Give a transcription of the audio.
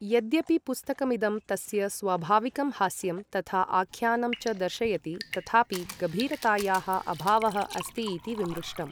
यद्यपि पुस्तकमिदं तस्य स्वाभाविकं हास्यं तथा आख्यानं च दर्शयति तथापि गभीरतायाः अभावः अस्ति इति विमृष्टम्।